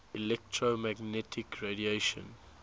electromagnetic radiation